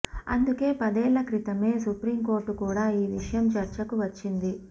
అందుకే పదేళ్ళ క్రితమే సుప్రీం కోర్టు కూడా ఈ విషయం చర్చకు వచ్చింది